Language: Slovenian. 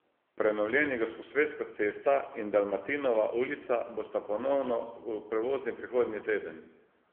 Prenovljeni Gosposvetska cesta in Dalmatinova ulica bosta ponovno prevozni prihodnji teden.